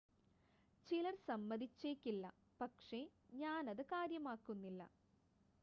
ചിലർ സമ്മതിച്ചേക്കില്ല പക്ഷെ ഞാൻ അത് കാര്യമാക്കുന്നില്ല